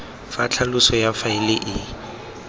fa tlhaloso ya faele e